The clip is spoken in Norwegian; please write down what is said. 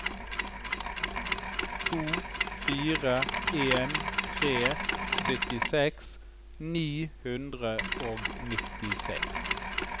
to fire en tre syttiseks ni hundre og nittiseks